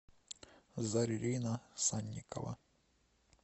зарина санникова